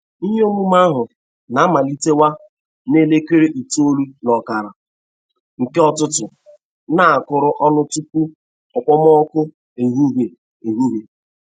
Ihe omume ahụ na-amalitewa n'elekere itolu n'okara.nke ụtụtụ na-akụrụ ọnụ tupu okpomọkụ ehihe. ehihe.